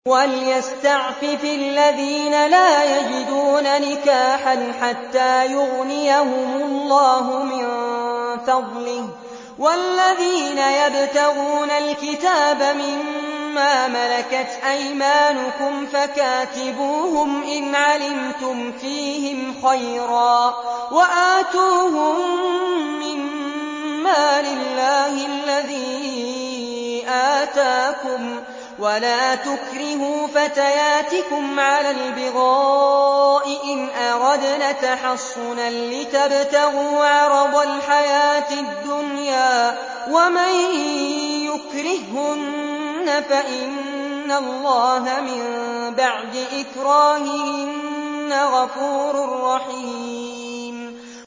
وَلْيَسْتَعْفِفِ الَّذِينَ لَا يَجِدُونَ نِكَاحًا حَتَّىٰ يُغْنِيَهُمُ اللَّهُ مِن فَضْلِهِ ۗ وَالَّذِينَ يَبْتَغُونَ الْكِتَابَ مِمَّا مَلَكَتْ أَيْمَانُكُمْ فَكَاتِبُوهُمْ إِنْ عَلِمْتُمْ فِيهِمْ خَيْرًا ۖ وَآتُوهُم مِّن مَّالِ اللَّهِ الَّذِي آتَاكُمْ ۚ وَلَا تُكْرِهُوا فَتَيَاتِكُمْ عَلَى الْبِغَاءِ إِنْ أَرَدْنَ تَحَصُّنًا لِّتَبْتَغُوا عَرَضَ الْحَيَاةِ الدُّنْيَا ۚ وَمَن يُكْرِههُّنَّ فَإِنَّ اللَّهَ مِن بَعْدِ إِكْرَاهِهِنَّ غَفُورٌ رَّحِيمٌ